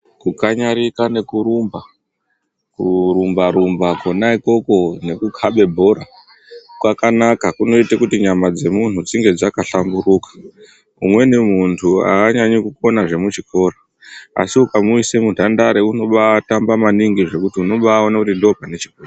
Kukanyarika nekurumba, kurumba-rumba kona ikoko nekukhabe bhora, kwakanaka kunoite kuti nyama dzemunhu dzinge dzakahlamburuka .Umweni muntu aanyanyi kukona zvemuchikora, asi ukamuise muntandare unobaatamba maningi zvekuti unobaaone kuti ndopane chipo.